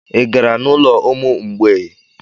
Ị gara n'ụlọ ụmụ mgbei?